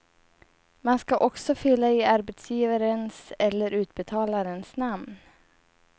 Man ska också fylla i arbetsgivarens eller utbetalarens namn.